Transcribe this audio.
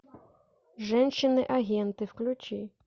женщины агенты включи